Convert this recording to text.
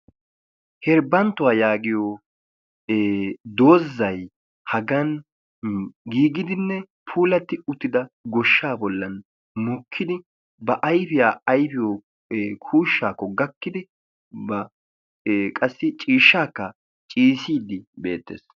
Hebanttuwaa yaagiyoo ee doozay hagan giigidinne puulattidi gooshshaa bollan mokkidi ba ayfiyaa ayfiyoo kuushshaakko gakkidi qassi ciishshaakka ciiyissidi beettees.